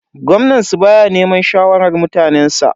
Gwamnan su baya neman shawarar mutanensa.